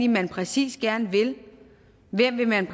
man præcis gerne vil hvem vil man